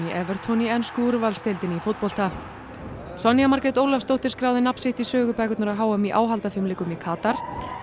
í ensku úrvalsdeildinni í fótbolta Sonja Margrét Ólafsdóttir skráði nafn sitt í sögubækurnar á h m í áhaldafimleikum í Katar